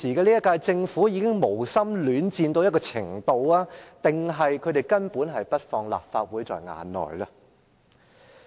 這屆政府是否已經無心戀戰，還是他們根本不把立法會放在眼內呢？